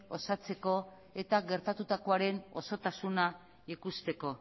osatzeko eta gertatutakoaren osotasuna ikusteko